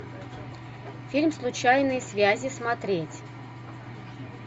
фильм случайные связи смотреть